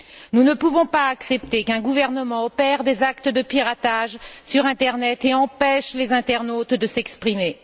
Nous ne pouvons pas accepter qu'un gouvernement opère des actes de piratage sur l'internet et empêche les internautes de s'exprimer.